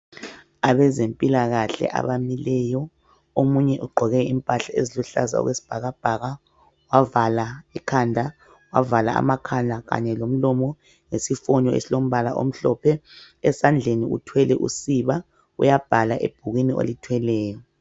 Abezempilakahle abamileyo omunye ugqoke impahla eziluhlaza okwesibhakabhaka wavala ikhanda, wavala amakhala kanye lomlomo ngesifonyo esilombala omhlophe esandleni uthwele usiba uyabhala ebhukwini olithweleyo.